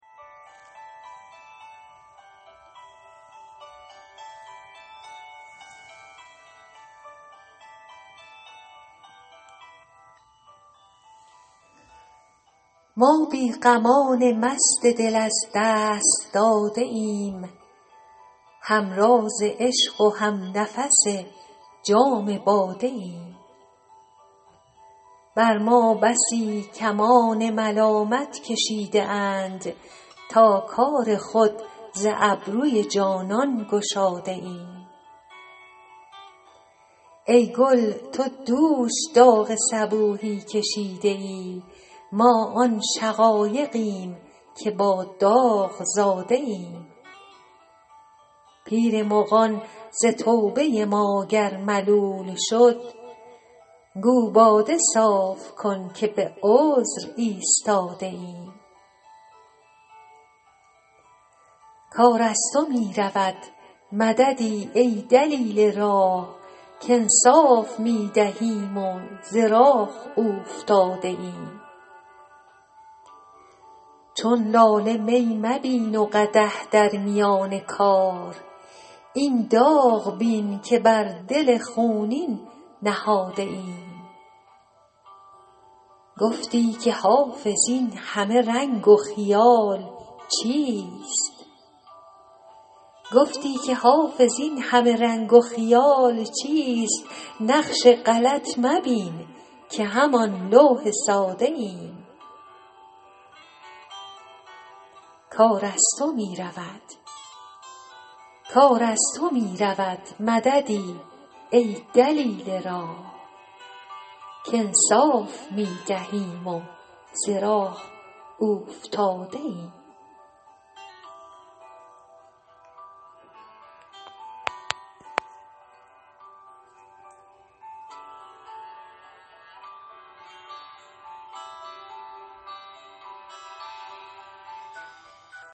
ما بی غمان مست دل از دست داده ایم هم راز عشق و هم نفس جام باده ایم بر ما بسی کمان ملامت کشیده اند تا کار خود ز ابروی جانان گشاده ایم ای گل تو دوش داغ صبوحی کشیده ای ما آن شقایقیم که با داغ زاده ایم پیر مغان ز توبه ما گر ملول شد گو باده صاف کن که به عذر ایستاده ایم کار از تو می رود مددی ای دلیل راه کانصاف می دهیم و ز راه اوفتاده ایم چون لاله می مبین و قدح در میان کار این داغ بین که بر دل خونین نهاده ایم گفتی که حافظ این همه رنگ و خیال چیست نقش غلط مبین که همان لوح ساده ایم